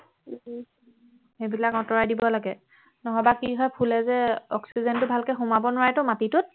সেইবিলাক আঁতৰাই দিব লাগে নহবা কি হয় ফুলে যে অক্সিজেনটো ভালকৈ সোমাব নোৱাৰে টো মাটিটোত